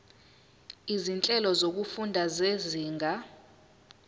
izinhlelo zokufunda zezinga